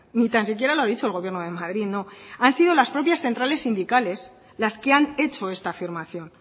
ni tan siquiera lo ha dicho el gobierno de madrid no han sido las propias centrales sindicales las que han hecho esta afirmación